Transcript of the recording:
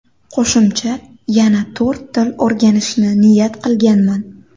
Qo‘shimcha yana to‘rt til o‘rganishni niyat qilganman.